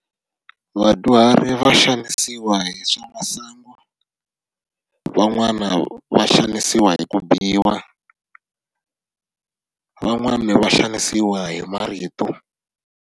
Vadyuhari va xanisiwa hi swa masangu, van'wana va xanisiwa hi ku biwa van'wani va xanisiwa hi marito.